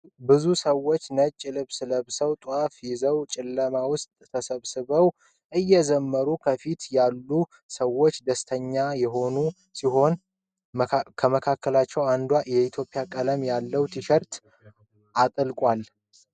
ብዙ ሰዎች ነጭ ልብስ ለብሰው ጣፍ ይዘው ጨለማ ውስጥ ተሰብስበው እየዘምሩ፤ ከፊት ያሉት ሰዎች ደስተኛ ሆነው ሲያዩ ከመካከላቸው አንዱ የኢትዮጵያ ቀለማት ያለው ቲሸርት አጥልቋል።